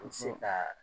An ti se kaa